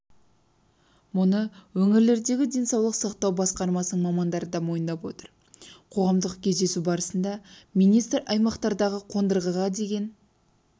мұны өңірлердегі денсаулық сақтау басқармасының мамандары да мойындап отыр қоғамдық кездесу барысында министр аймақтардағы қондырғыға деген